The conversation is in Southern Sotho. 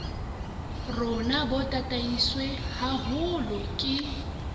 rona bo tataiswe haholo ke